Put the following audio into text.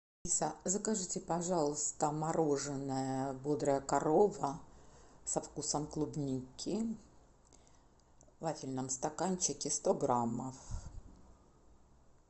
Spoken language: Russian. алиса закажите пожалуйста мороженое бодрая корова со вкусом клубники в вафельном стаканчике сто граммов